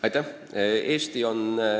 Aitäh!